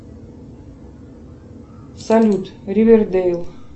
салют ривердейл